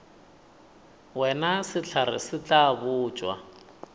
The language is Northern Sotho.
wena sehlare se tla botšwa